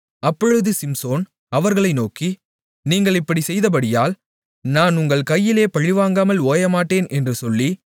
அப்பொழுது சிம்சோன் அவர்களை நோக்கி நீங்கள் இப்படிச் செய்தபடியால் நான் உங்கள் கையிலே பழிவாங்காமல் ஓயமாட்டேன் என்று சொல்லி